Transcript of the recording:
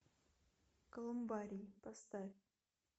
колумбарий поставь